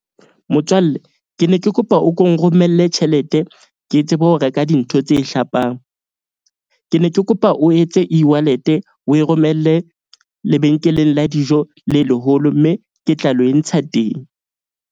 Motswalle ke ne ke kopa o ko nromelle tjhelete ke tsebe ho reka dintho tse hlapang. Ke ne ke kopa o etse e-wallet-e o e romelle lebenkeleng la dijo le leholo. Mme ke tla lo entsha teng.